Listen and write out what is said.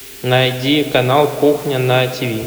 найди канал кухня на тв